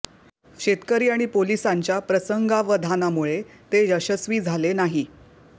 शेतकरी आणि पोलिसांच्या प्रसंगावधानामुळे ते यशस्वी झाले नाही